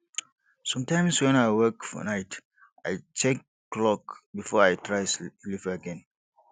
sometimes when i wake for night i check clock before i try sleep again